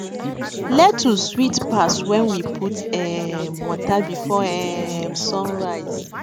lettuce sweet pass when we put um water before um sun rise